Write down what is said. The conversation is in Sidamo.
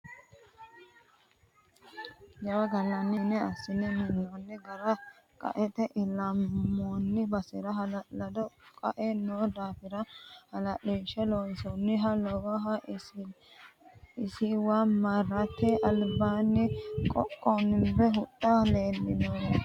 Jawa gallanni mine assine minoni gari qaete ilamoni basera hala'lado qae no daafira hala'lishe loonsoniha lawano isiwa marate albaani qoqonbe huxxa lemichuniha woronni.